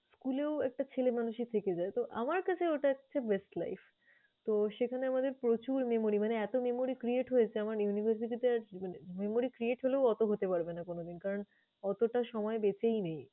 school এও একটা ছেলেমানুষি থেকে যায়। তো, আমার কাছে ওটা হচ্ছে best life । তো সেখানে আমাদের প্রচুর memory মানে এত memory create হয়েছে, আমার university তে মানে memory create হলেও অত হতে পারবে না কোনদিন। কারণ অতটা সময় বেচেই নেই